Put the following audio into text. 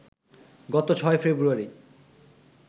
গত ৬ ফেব্রুয়ারি